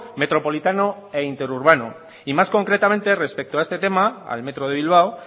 metropolitano e interurbano y más concretamente respecto a este tema al metro de bilbao